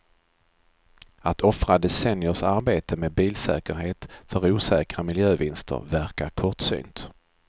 Att offra decenniers arbete med bilsäkerhet för osäkra miljövinster verkar kortsynt.